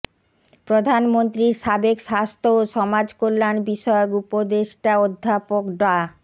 প্রধানমন্ত্রীর সাবেক স্বাস্থ্য ও সমাজকল্যাণ বিষয়ক উপদেষ্টা অধ্যাপক ডা